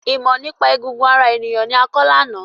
Ìmọ nípa egungun ara ènìyàn ni a kọ lána.